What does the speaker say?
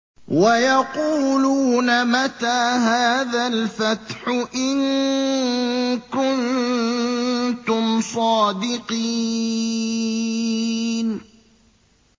وَيَقُولُونَ مَتَىٰ هَٰذَا الْفَتْحُ إِن كُنتُمْ صَادِقِينَ